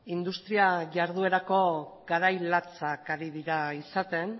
industria jarduerako garai latzak ari dira izaten